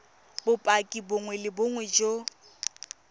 bopaki bongwe le bongwe jo